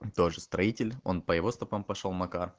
тоже строитель он по его стопам пошёл макар